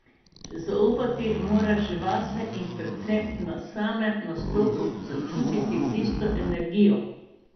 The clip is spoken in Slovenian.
Zaupati moraš vase in predvsem na samem nastopu začutiti tisto energijo.